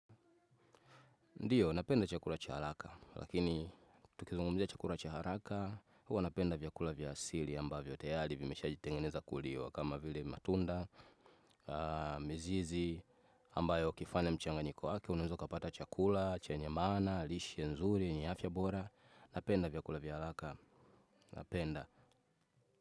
Ndiyo, napenda chakula cha haraka, lakini tukizungumzia chakula cha haraka, huwa napenda vyakula vya asili ambavyo tayali vimeshajitengeneza kuliwa kama vile matunda, mizizi amba yo ukifanya mchanganyiko wake unaeza u kapata chakula, che nye maana, lishe, nzuri, yenye afya bora, napenda vyakula vya alaka, napenda.